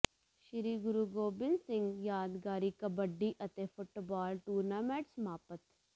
ਸ੍ਰੀ ਗੁਰੂ ਗੋਬਿੰਦ ਸਿੰਘ ਯਾਦਗਾਰੀ ਕਬੱਡੀ ਅਤੇ football tournament ਸਮਾਪਤ